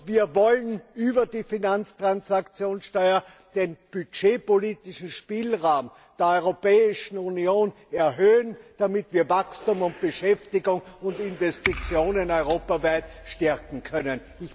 Wir wollen über die Finanztransaktionssteuer den budgetpolitischen Spielraum der Europäischen Union erhöhen, damit wir Wachstum, Beschäftigung und Investitionen europaweit stärken können.